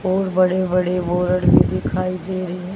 और बड़े बड़े बोर्ड भी दिखाई दे रहे--